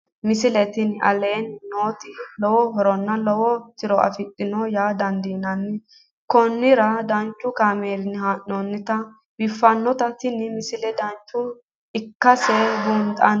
misile tini aleenni nooti lowo horonna lowo tiro afidhinote yaa dandiinanni konnira danchu kaameerinni haa'noonnite biiffannote tini misile dancha ikkase buunxanni